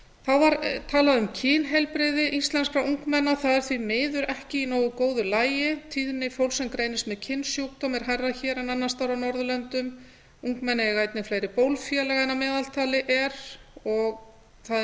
þá var talað um kynheilbrigði íslenskra ungmenna það er því miður ekki í nógu góðu lagi tíðni fólks sem greinist með kynsjúkdóma er hærri hér en annars staðar á norðurlöndum ungmenni eiga einnig fleiri bólfélaga en að meðaltali er og það er